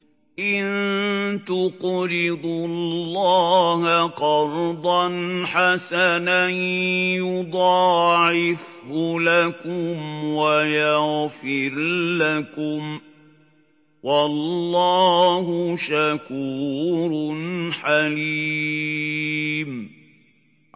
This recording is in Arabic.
إِن تُقْرِضُوا اللَّهَ قَرْضًا حَسَنًا يُضَاعِفْهُ لَكُمْ وَيَغْفِرْ لَكُمْ ۚ وَاللَّهُ شَكُورٌ حَلِيمٌ